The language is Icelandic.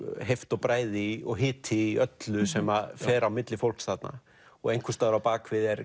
heift og bræði og hiti í öllu sem fer á milli fólks þarna og einhvers staðar á bak við er